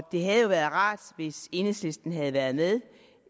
det havde jo været rart hvis enhedslisten havde været med